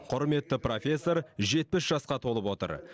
құрметті профессор жетпіс жасқа толып отыр